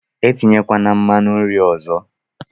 Etinyekwala nmanu nri ọzọ!